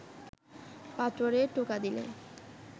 পাথরে টোকা দিলে